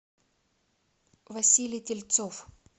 василий тельцов